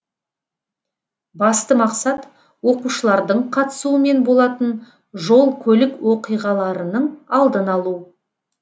басты мақсат оқушылардың қатысуымен болатын жол көлік оқиғаларының алдын алу